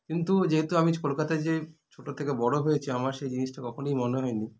কিন্তু যেহেতু আমি কলকাতায় যে ছোটো থেকে বড়ো হয়েছি আমার সে জিনিসটা কখনই মনে হয়নি